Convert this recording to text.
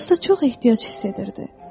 Dosta çox ehtiyac hiss edirdi.